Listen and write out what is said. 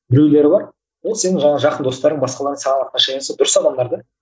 біреулері бар ол сенің жаңа жақын достарың басқалардан саған отношениесі дұрыс адамдар да